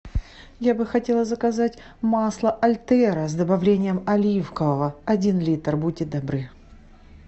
я бы хотела заказать масло альтеро с добавлением оливкового один литр будьте добры